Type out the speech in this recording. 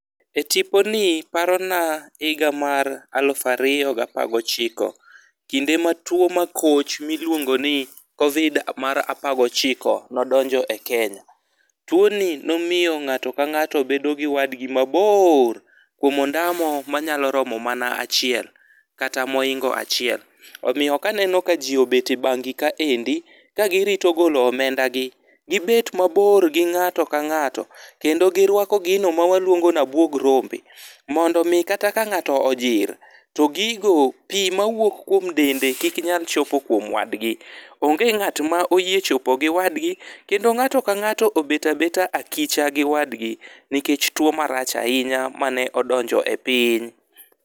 E tiponi parona higa mar alufu ariyo gi apar gochiko. Kinde mar tuo makoch miluongo ni COVID mar apar gochiko nodonjo e Kenya. Tuo ni nomiyo ng'ato ka ng'ato bedo gi wadgi mabor, kuom ondaya moro manyalo romo mana achiel kata mohingo achiel. Omiyo kaneno ka ji obete banki kaendi ka girito golo omenda gi. Gibet mabor gi ng'ato ka ng'ato. Kendo giruako gino mawaluongo ni abuog rombe, mondo omi kata ka ng'ato ojir, to gigo pii mawuok kuom dende kik nyal chopo kuom wadgi. Onge ng'at ma oyie chopo gi wadgi, kendo ng'ato ka ng'ato obeta beta akicha gi wadgi nikech tuo marach ahinya mane odonjo e piny.